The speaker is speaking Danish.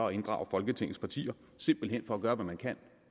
at inddrage folketingets partier simpelt hen for at gøre hvad man kan